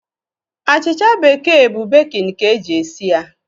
Achịcha bekee bụ bekin ka e ji esi ya.